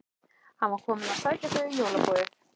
Hann var kominn að sækja þau í jólaboðið.